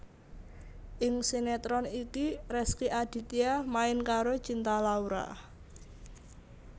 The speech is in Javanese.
Ing sinetron iki Rezky Aditya main karo Cinta Laura